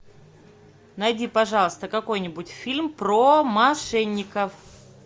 найди пожалуйста какой нибудь фильм про мошенников